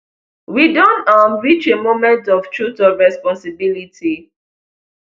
we don um reach a moment of truth of responsibility